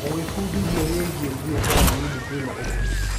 Gwĩbundithia wĩgiĩ biashara nini kwĩna ũguni.